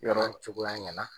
yɔrɔ Cogoya ɲɛna.